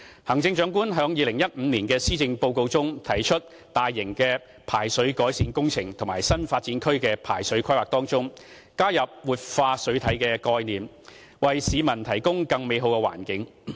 行政長官於2015年的施政報告中，提出在大型排水改善工程及新發展區的排水規劃中，加入活化水體的概念，為市民提供更美好的環境。